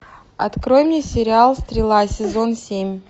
открой мне сериал стрела сезон семь